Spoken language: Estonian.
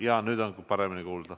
Jaa, nüüd on paremini kuulda.